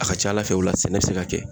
A ka ca ala fɛ ,o la sɛnɛ be se ka kɛ.